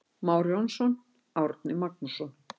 Már Jónsson, Árni Magnússon.